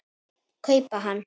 kaupa hann.